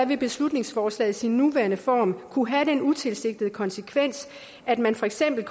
vil beslutningsforslaget i sin nuværende form kunne have den utilsigtede konsekvens at man for eksempel i